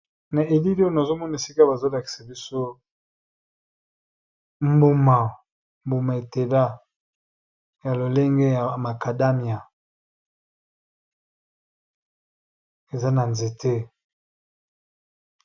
Na elili oyo bazolakiza biso mbuma etela ya lolenge ya makadamya eza na nzete.